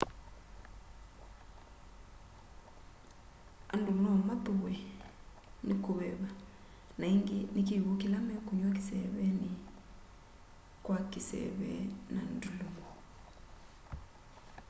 andu nomathuwe ni kuveva na ingi ni kiw'u kila mekunywa kiseeveni kwa kiseve na ndulumo